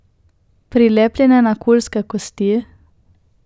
Prilepljene na Kulske kosti?